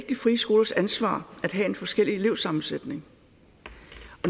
de frie skolers ansvar at have en forskellig elevsammensætning